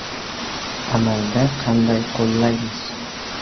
Amalda qanday qo‘llaymiz?